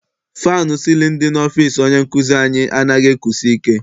Fannụ sịlịnụ dị n'ọfịịsi onye nkụzi anyị anaghị ekusi ike.